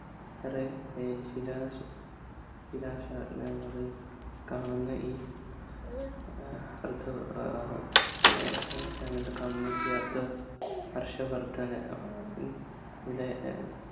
നിറയെ ശിലാ ശ ശിലാശാലങ്ങളിൽ കാണുന്ന ഈ കാണുന്ന ഈ അർദ്ധ ഹർഷവർദ്ധൻ ഏർ നിലെ